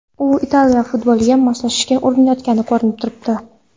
U Italiya futboliga moslashishga urinayotgani ko‘rinib turibdi.